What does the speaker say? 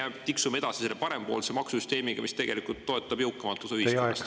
Või me tiksume edasi selle parempoolse maksusüsteemiga, mis tegelikult toetab jõukamat osa ühiskonnast?